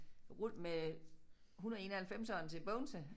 Med 191'eren til Bogense